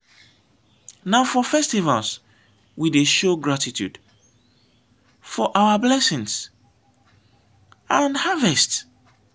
na for festivals we dey show gratitude for our blessings and harvest.